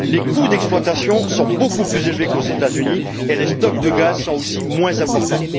Les coûts d'exploitation sont beaucoup plus élevés qu'aux États Unis et les stocks de gaz sont aussi moins importants.